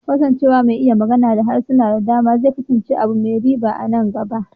Kasancewa mai iya magana da harsuna da dama zai kasance abu mai riba sosai a nan gaba.